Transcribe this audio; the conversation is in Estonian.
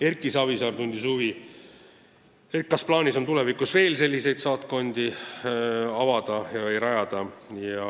Erki Savisaar tundis huvi, kas on plaanis tulevikus veel selliseid saatkondi rajada.